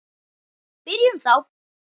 Byrjum þá.